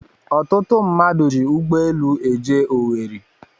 Ọtụtụ mmadụ ji ụgbọelu eje Owerri